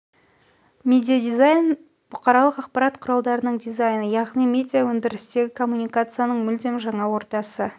медиадизайн нем бұқаралық ақпарат құралдарының дизайны яғни медиаөндірістегі коммуникацияның мүлдем жаңа ортасы